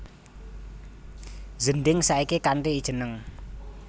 Zending saiki kanthi jeneng